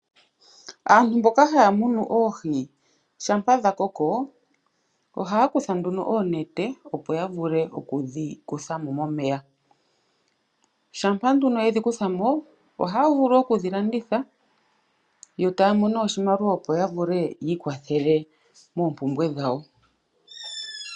Aantu mboka haya munu oohi shampa dha koko, ohaya kutha nduno oonete opo ya vule oku dhi kutha mo momeya. Shampa nduno yedhi kutha mo, ohaya vulu oku dhi landitha yo taya i monene oshimaliwa opo ya vule yi i kwathele moompumbwe dhawo.